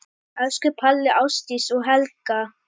Elsku Palli, Ásdís og Hekla.